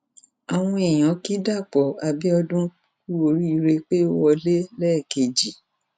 àwọn èèyàn ki dapò abiodun kú oríire pé ó wọlé lẹẹkejì